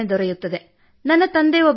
ವಾಸ್ತವದಲ್ಲಿ ನನಗೆ ಇಬ್ಬರು ಅಕ್ಕಂದಿರಿದ್ದಾರೆ ಸರ್